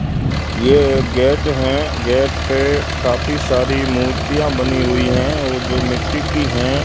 ये एक गेट हैं गेट पे काफी सारी मूर्तियां बनी हुई हैं वो जो मिट्टी की हैं।